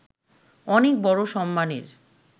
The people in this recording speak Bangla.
অনেক বড় সম্মানের